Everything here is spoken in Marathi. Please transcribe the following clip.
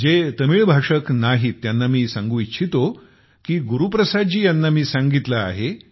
जे तमिळ भाषक नाहीत त्यांना मी सांगू इच्छितो की मी गुरुप्रसाद जी यांना सांगितले आहे